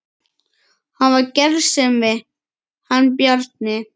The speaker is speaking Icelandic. Hann var gersemi hann Bjarni.